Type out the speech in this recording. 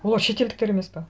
олар шетелдіктер емес пе